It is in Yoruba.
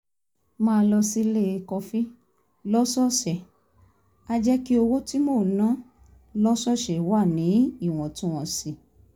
máa lọ sílé kọfí lọ́sọ̀ọ̀sẹ̀ á jẹ́ kí owó tí mò ń ná lọ́sọ̀ọ̀sẹ̀ wà níwọ̀ntúnwọ̀nsì